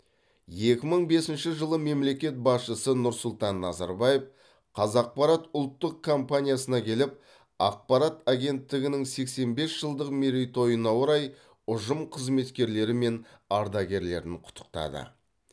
екі мың бесінші жылы мемлекет басшысы нұрсұлтан назарбаев қазақпарат ұлттық компаниясына келіп ақпарат агенттігінің сексен бес жылдық мерейтойына орай ұжым қызметкерлері мен ардагерлерін құттықтады